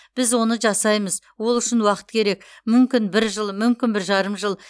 біз оны жасаймыз ол үшін уақыт керек мүмкін бір жыл мүмкін бір жарым жыл